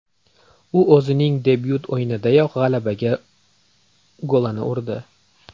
U o‘zining debyut o‘yinidayoq g‘alabaga golini urdi.